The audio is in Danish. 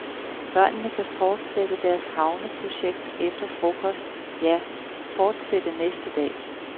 Børnene kan fortsætte deres havneprojekt efter frokost, ja, fortsætte næste dag.